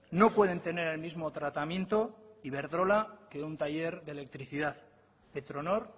no pueden tener el mismo tratamiento iberdrola que un taller de electricidad petronor